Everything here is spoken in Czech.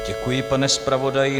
Děkuji, pane zpravodaji.